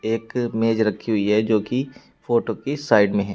एक मेज रखी हुई है जो की फोटो के साइड में है।